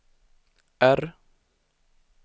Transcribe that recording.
R